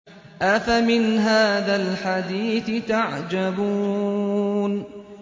أَفَمِنْ هَٰذَا الْحَدِيثِ تَعْجَبُونَ